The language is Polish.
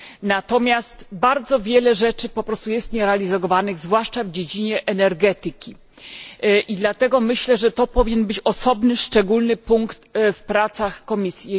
natomiast bardzo wiele rzeczy po prostu jest nierealizowanych, zwłaszcza w dziedzinie energetyki. Dlatego myślę, że to powinien być osobny, szczególny punkt w pracach Komisji.